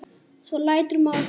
Svo lætur maður þorna.